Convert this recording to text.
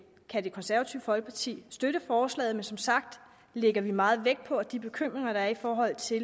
kan det konservative folkeparti støtte forslaget men som sagt lægger vi meget vægt på at de bekymringer der er i forhold til